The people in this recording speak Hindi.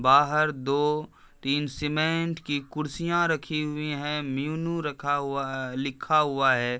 बाहर दो तीन सीमेंट की कुर्सियाँ रखी हुई हैं। मेनू रखा हुआलिखा हुआ है।